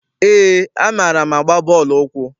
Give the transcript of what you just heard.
Eé, amaara m agba bọọlụ ụkwụ.